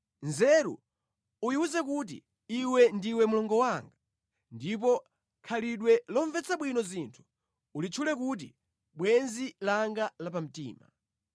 Nzeru uyiwuze kuti, “Iwe ndiwe mlongo wanga,” ndipo khalidwe lomvetsa bwino zinthu ulitchule kuti, “Bwenzi langa lapamtima.”